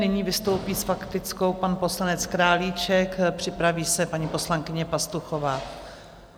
Nyní vystoupí s faktickou pan poslanec Králíček, připraví se paní poslankyně Pastuchová.